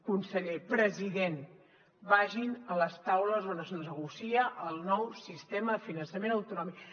conseller president vagin a les taules on es negocia el nou sistema de finançament autonòmic